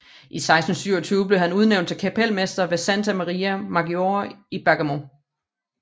I 1627 blev han udnævnt til kapelmester ved Santa Maria Maggiore i Bergamo